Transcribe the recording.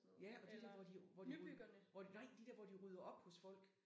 Ja og de der hvor de hvor de hvor de nej de der hvor de rydder op hos folk